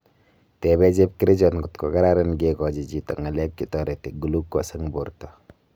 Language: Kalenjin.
Tepee chepkerichot kotkokararan kekachi chito ngalek chetareti glucose eng porta